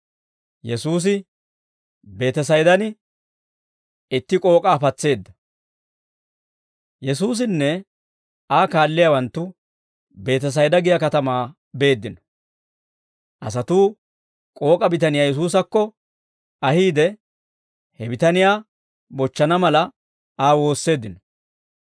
Yesuusinne Aa kaalliyaawanttu Beetesayda giyaa katamaa beeddino; asatuu k'ook'a bitaniyaa Yesuusakko ahiide, he bitaniyaa bochchana mala, Aa woosseeddino.